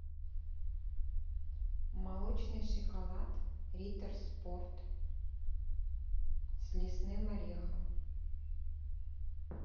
молочный шоколад риттер спорт с лесным орехом